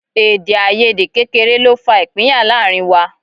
Èdèàìyedè kékeré ló fa ìpínyà láàrin wa